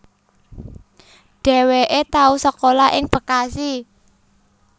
Dhéwéké tau sekolah ing Bekasi